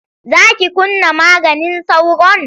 Za ki kunna maganin sauron?